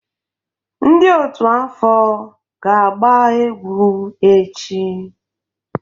Ndị otú afọ ga-agba egwu echi.